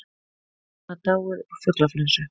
Getur maður dáið úr fuglaflensu?